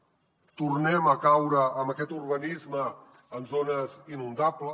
tornem a caure en aquest urbanisme en zones inundables